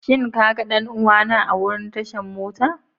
Shin ka ga danuwa na a wurin tashan mota?